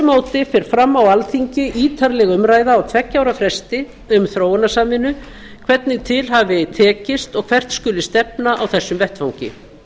móti fer fram á alþingi ítarleg umræða á tveggja ára fresti um þróunarsamvinnu hvernig til hafi tekist og hvert skuli stefna á þessum vettvangi